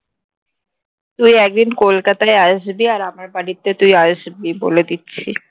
তুই একদিন কলকাতায় আসবি আর আমার বাড়িতে তুই আসবি বলে দিচ্ছি